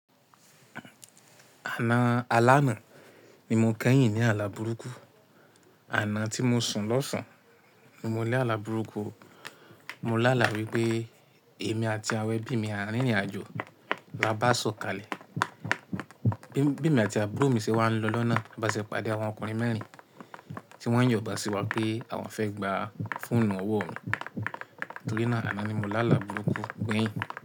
Àná alánà ni mo kẹ́yìn ní ààlà burúkú. Àná tí mo sùn lọ́sàn ni mo ní àlà burúkú. Mo lá àlá wípé èmi àti àwọn ẹbí mi a rìn ìrìnàjò, bá bá sọ̀kalẹ̀, ẹbí mi àti àbúrò mi ṣe wá ń lọ lọ́nà, bá ṣe pàdé àwọn ọkùnrin mẹ́rin tí wọ́n yibon sí wa pé àwọn fẹ́ gbàá fọ̀onu ọwọ́ ọ̀n. Torí náà àná ni mo lá àlá burúkú gbẹ̀yìn.